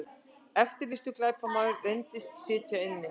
Eftirlýstur glæpamaður reyndist sitja inni